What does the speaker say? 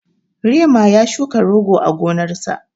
Rema ya shuka rogo a gonarsa.